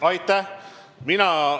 Aitäh!